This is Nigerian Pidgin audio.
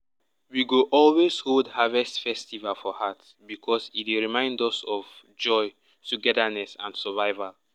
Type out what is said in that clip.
we go always hold harvest festival for heart because e dey remind us of joy togetherness and survival.